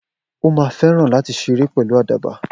O má feran lati séré pelu àdàbà